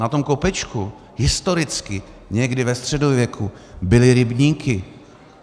Na tom kopečku historicky, někdy ve středověku, byly rybníky.